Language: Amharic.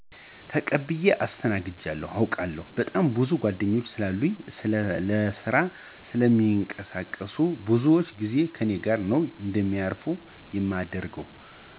ተቀብየ አስተናግጄ አውቃለሁ። በጣም ብዙ ጓድኞች ስላሉኝ ለስራ ስለሚንቀሳቀሱ ብዙውን ጊዜ ከኔ ጋር ነው እንዲያርፉ የማደርገው።